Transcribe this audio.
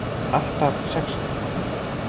Alltaf sex ára.